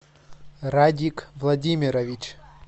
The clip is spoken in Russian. радик владимирович